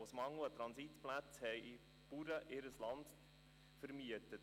Aus Mangel an Transitplätzen vermieteten ihnen Bauern ihr Land.